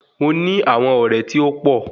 Mo ní àwọn ọ̀rẹ́ tí ó pọ̀